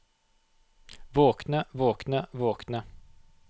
våkne våkne våkne